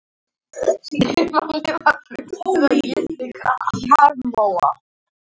Kjarrmóa